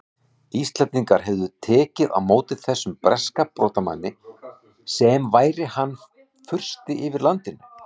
Íslendingar hefðu tekið á móti þessum breska brotamanni sem væri hann fursti yfir landinu!